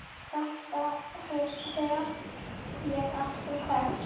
Þetta hef ég alltaf sagt!